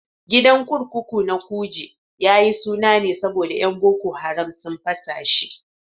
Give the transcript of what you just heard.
Gidan kurkuku na Kuje yayi suna ne saboda yan boko haram sun fasa shi